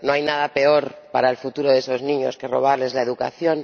No hay nada peor para el futuro de esos niños que robarles la educación.